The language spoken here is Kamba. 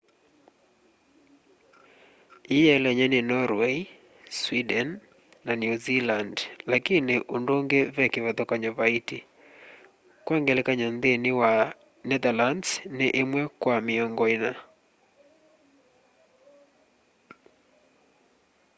ii yiielenye ni norway sweden na new zealand lakini undungi ve kivathukanyo vaiti kwa ngelakanyo nthini wa netherlands ni imwe kwa miongo ina